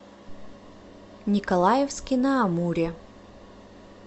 николаевске на амуре